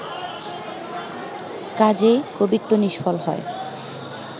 কাজেই কবিত্ব নিষ্ফল হয়